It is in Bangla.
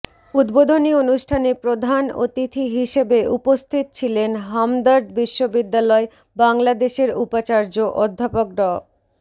উদ্বোধনী অনুষ্ঠানে প্রধান অতিথি হিসেবে উপস্থিত ছিলেন হামদর্দ বিশ্ববিদ্যালয় বাংলাদেশের উপাচার্য অধ্যাপক ড